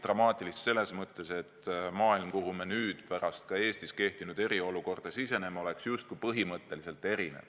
Dramaatilist selles mõttes, et maailm, kuhu me pärast ka Eestis kehtinud eriolukorda siseneme, oleks justkui põhimõtteliselt erinev.